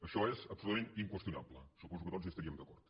això és absolutament inqüestionable suposo que tots hi estaríem d’acord